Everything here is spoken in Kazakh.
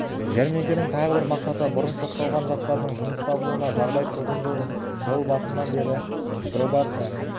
жәрмеңкенің тағы бір мақсаты бұрын сотталған жастардың жұмыс табуына жағдай туғызу жыл басынан бері пробация